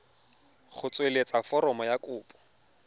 go tsweletsa foromo ya kopo